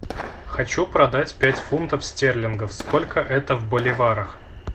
хочу продать пять фунтов стерлингов сколько это в боливарах